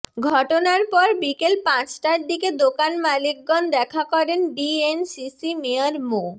ঘটনার পর বিকেল পাঁচটার দিকে দোকান মালিকগন দেখা করেন ডিএনসিসি মেয়র মো